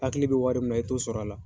Hakili bɛ wari min na i t'o sɔrɔ a la.